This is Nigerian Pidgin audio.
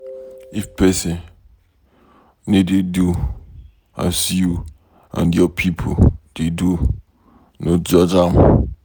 If pesin no dey do as you and your pipo dey do, no judge am.